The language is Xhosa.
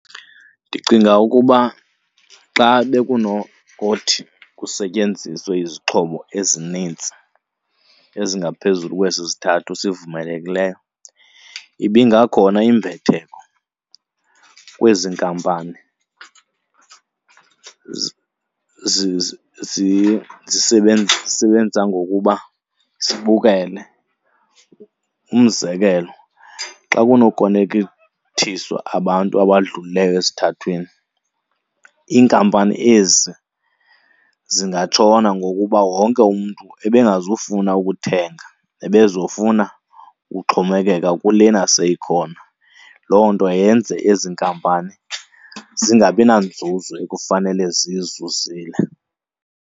Ndicinga ukuba xa bekunokuthi kusetyenziswe izixhobo ezinintsi ezingaphezulu kwesi sithathu sivumelekileyo ibingakhona imbetheko kwezi nkampani zisebenza ngokuba sibukele. Umzekelo, xa kunokonekithiswa abantu abadlulileyo esithathwini, iinkampani ezi zingatshona ngokuba wonke umntu ebengazufuna ukuthenga, ebezofuna uxhomekeka kulena seyikhona. Loo nto yenze ezi inkampani zingabi nanzuzo ekufanele ziyizuzile.